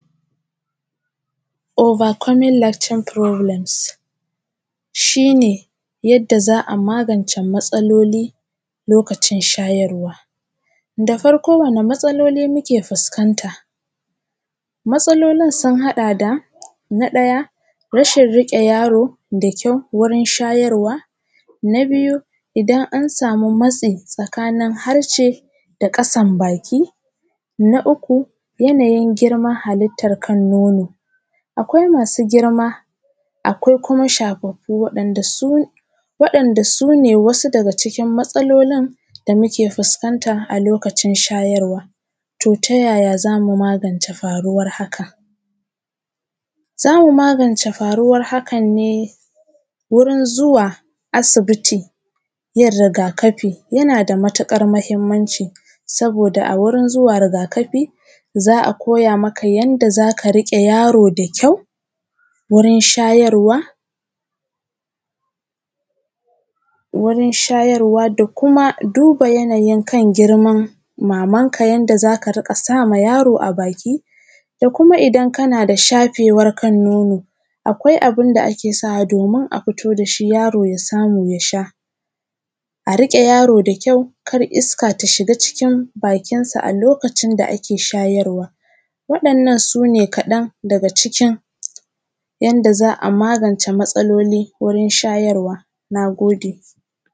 Oba komin lakcin furobulems. Shi ne yadda za a magance matsaloli lokacin shayarwa. Da farko wasu matsaloli muke fuskanta? Matsalolin sun hada da:- Na daya rashin rike yaro da kyau waje shayarwa. Na biyu idan an samu matsin tsakanin harshe da kasan baki. Na uku yana yin girman halittan kan nono, akwai masu girma akwai kuma shafafu wadanda su, wadan da su ne wasu daga cikin matsalolin da muke fuskanta a lokacin shayarwa. To ta yaya zamu magance faruwar haka? Zamu magance faruwar hakan ne wurin zuwa asibiti yin rigakafi yana da matukar mahimmanci, saboda a wurin zuwa rigakafi za a koya maka yanda zaka rike yaro da kyau wurin shayarwa, wurin sharyawa da kuma duba yana yin kan girman mamanka yanda zaka rika sama yaro a baki da kuma idan kana da shafewan kan nono, akwai abun da ake sawa domin a fito dashi yaro ya samu yasha. A rike yaro da kyau kar iska ta samu ta shiga cıkın bakinsa a lokacin da ake shayarwa. Wa’innan su ne kadan daga cikin yanda za a magance matsaloli wajen shayarwa. Na gode.